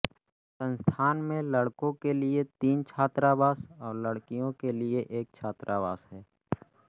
संस्थान में लड़कों के लिए तीन छात्रावास और लड़कियों के लिए एक छात्रावास है